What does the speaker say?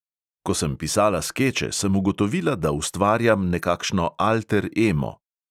"Ko sem pisala skeče, sem ugotovila, da ustvarjam nekakšno alter emo."